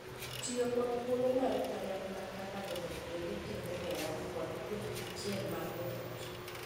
Tiyo kod thuolo maru kanyakla kaka joot bende tego hera kod twech achiel mar joot.